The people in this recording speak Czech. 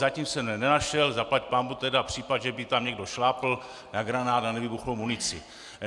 Zatím jsem nenašel zaplať pánbůh tedy případ, že by tam někdo šlápl na granát, na nevybuchnou munici.